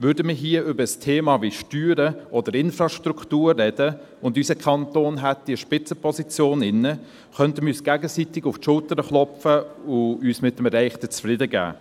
Würden wir hier über ein Thema wie Steuern oder Infrastruktur reden und unser Kanton hätte eine Spitzenposition inne, könnten wir uns gegenseitig auf die Schulter klopfen und uns mit dem Erreichten zufriedengeben.